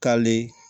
Kale